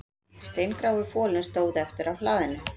Steingrái folinn stóð eftir á hlaðinu